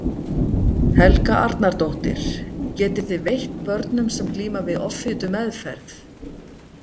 Helga Arnardóttir: Getið þið veitt börnum sem glíma við offitu meðferð?